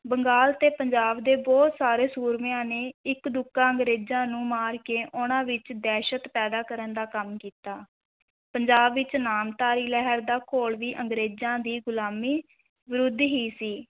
ਬੰਗਾਲ ਤੇ ਪੰਜਾਬ ਦੇ ਬਹੁਤ ਸਾਰੇ ਸੂਰਮਿਆਂ ਨੇ ਇੱਕਦੁੱਕਾ ਅੰਗਰੇਜ਼ਾਂ ਨੂੰ ਮਾਰ ਕੇ ਉਨ੍ਹਾਂ ਵਿਚ ਦਹਿਸ਼ਤ ਪੈਦਾ ਕਰਨ ਦਾ ਕੰਮ ਕੀਤਾ, ਪੰਜਾਬ ਵਿਚ ਨਾਮਧਾਰੀ ਲਹਿਰ ਦਾ ਘੋਲ ਵੀ ਅੰਗੇਰਜ਼ਾਂ ਦੀ ਗੁਲਾਮੀ ਵਿਰੁੱਧ ਹੀ ਸੀ।